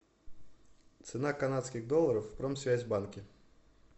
цена канадских долларов в промсвязьбанке